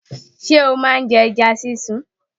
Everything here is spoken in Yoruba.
Ṣé o ma ń jẹ ẹja sísun?